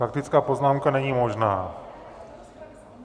Faktická poznámka není možná.